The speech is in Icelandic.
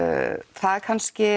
það er kannski